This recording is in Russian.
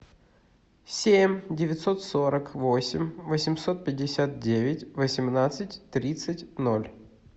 семь девятьсот сорок восемь восемьсот пятьдесят девять восемнадцать тридцать ноль